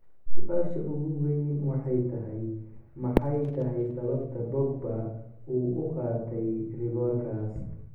Su'aasha ugu weyn waxay tahay, maxay tahay sababta Pogba uu u qaaday rigoorkaas?